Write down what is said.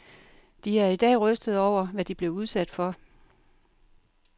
De er i dag rystede over, hvad de blev udsat for.